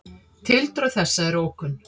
Tildrög þessa eru ókunn.